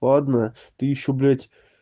ладно ты ещё блядь